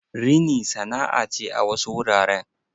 Rini sana'a ce a wasu wuraren.